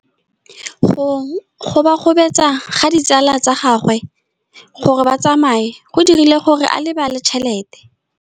Go gobagobetsa ga ditsala tsa gagwe, gore ba tsamaye go dirile gore a lebale tšhelete.